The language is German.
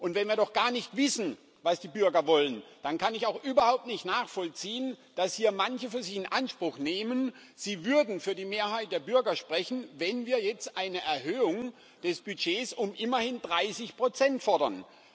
Und wenn wir doch gar nicht wissen, was die Bürger wollen, dann kann ich auch überhaupt nicht nachvollziehen, dass hier manche für sich in Anspruch nehmen, sie würden für die Mehrheit der Bürger sprechen, wenn wir jetzt eine Erhöhung des Budgets um immerhin 30 fordern.